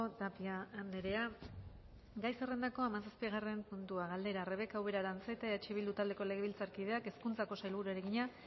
tapia andrea gai zerrendako hamazazpigarren puntua galdera rebeka ubera aranzeta eh bildu taldeko legebiltzarkideak hezkuntzako sailburuari egina